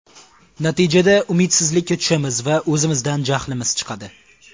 Natijada umidsizlikka tushamiz va o‘zimizdan jahlimiz chiqadi.